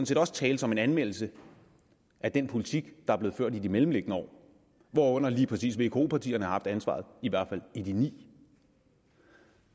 set også tale som en anmeldelse af den politik der er blevet ført i de mellemliggende år hvor lige præcis vko partierne har haft ansvaret i hvert fald i de ni